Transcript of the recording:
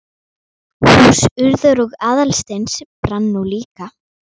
Hús Urðar og Aðalsteins brann nú líka.